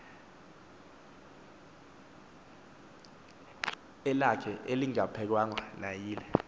elakhe elingaphikwanga nayile